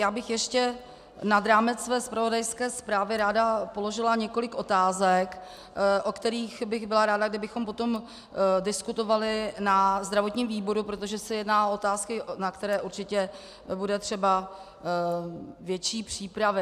Já bych ještě nad rámec své zpravodajské zprávy ráda položila několik otázek, o kterých bych byla ráda, kdybychom potom diskutovali na zdravotním výboru, protože se jedná o otázky, na které určitě bude třeba větší přípravy.